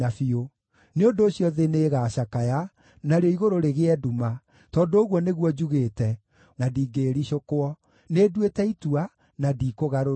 Nĩ ũndũ ũcio thĩ nĩĩgacakaya, narĩo igũrũ rĩgĩe nduma, tondũ ũguo nĩguo njugĩte, na ndingĩĩricũkwo. Nĩnduĩte itua na ndikũgarũrũka.”